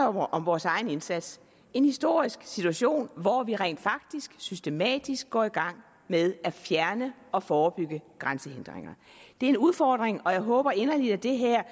om vores egen indsats en historisk situation hvor vi rent faktisk systematisk går i gang med at fjerne og forebygge grænsehindringer det er en udfordring og jeg håber inderligt at det her